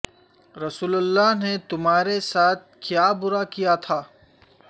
رسول اللہ نے تمہارے ساتھ کیا برا کیا تھا